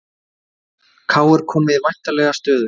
KR komið í vænlega stöðu